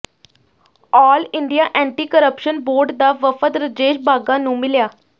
ਆਲ India anti corruption board ਦਾ ਵਫਦ ਰਜੇਸ਼ ਬਾਘਾ ਨੂੰ ਮਿਲਿਆ